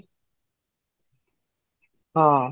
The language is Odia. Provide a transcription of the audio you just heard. ହଁ